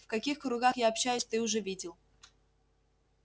в каких кругах я общаюсь ты уже видел